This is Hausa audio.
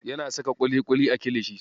Yana saka ƙuliƙuli a kilishi.